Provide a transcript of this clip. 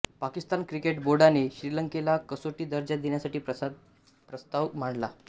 Pakistan cricket बोर्डाने श्रीलंकेला कसोटी दर्जा देण्यासाठी प्रस्ताव मांडला